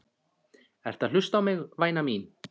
Ertu að hlusta á mig, væna mín?